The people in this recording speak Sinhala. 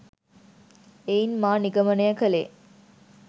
එයින් මා නිගමනය කළේ